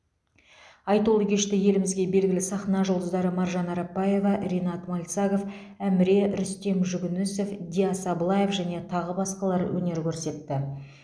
айтулы кеште елімізге белгілі сахна жұлдыздары маржан арапбаева ринат мальцагов әміре рүстем жүгінісов диас аблаев және тағы басқалар өнер көрсетті